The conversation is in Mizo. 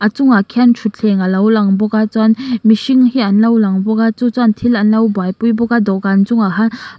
a chung ah khian thutthleng a lo lang bawk a chuan mihring hi an lo lang bawk a chu chuan thil an lo buaipui bawk a dawhkan chung ah hian pa--